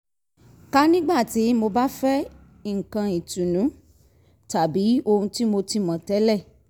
ka nígbà tí mo bá fẹ́ nǹkan ìtùnú tàbí ohun tí mo ti mọ̀ tẹ́lẹ̀